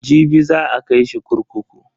Jibi za a kai shi kurkuku.